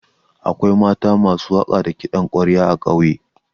Akwai mata masu waƙa da kiɗan ƙwarya a ƙauye.